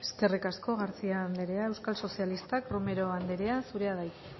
eskerrik asko garcía anderea euskal sozialistak romero anderea zurea da hitza